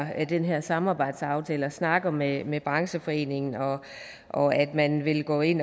den her samarbejdsaftale og snakker med med brancheforeningen og at man vil gå ind